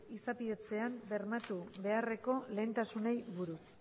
izapidetzean bermatu beharreko lehentasunei buruz